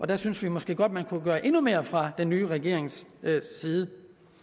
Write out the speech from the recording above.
der synes vi måske godt man kunne gøre endnu mere fra den nye regerings side